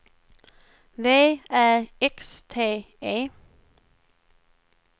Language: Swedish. V Ä X T E